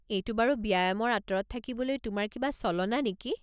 এইটো বাৰু ব্যায়ামৰ আঁতৰত থাকিবলৈ তোমাৰ কিবা ছলনা নেকি?